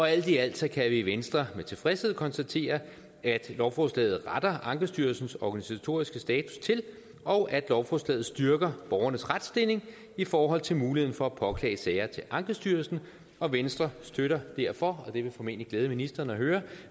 alt i alt kan vi i venstre med tilfredshed konstatere at lovforslaget retter ankestyrelsens organisatoriske status til og at lovforslaget styrker borgernes retsstilling i forhold til muligheden for at påklage sager til ankestyrelsen og venstre støtter derfor og det vil formentlig glæde ministeren at høre